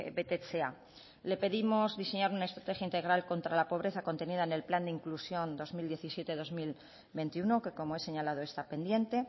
betetzea le pedimos diseñar una estrategia integral contra la pobreza contenida en el plan de inclusión dos mil diecisiete dos mil veintiuno que como he señalado está pendiente